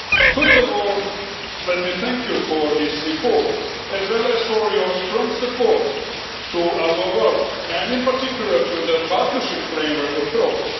First of all let me thank you for this report, as well as for your strong support for our work and in particular for the partnership framework approach.